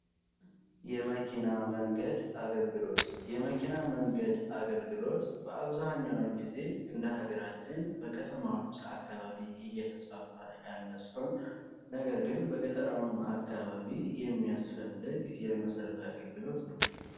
የመኪና መንገድ አገልግሎት የመኪና መንገድ አገልግሎት በአብዛኛውን ጊዜ እንደሀገራችን በከተማዎች አካባቢ እየተስፋፋ ያለ ነገር ግን አካባቢ የሚያስፈልግ የመሰረቱ የአገልግሎት ነው